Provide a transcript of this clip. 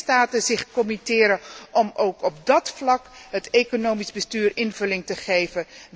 Gaan de lidstaten zich committeren om ook op dat vlak het economisch bestuur invulling te geven?